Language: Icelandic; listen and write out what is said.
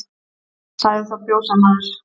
Sagði þá fjósamaður